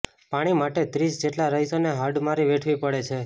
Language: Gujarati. પાણી માટે ત્રીસ જેટલા રહીશોને હાડમારી વેઠવી પડે છે